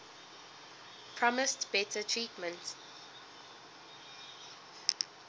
promised better treatment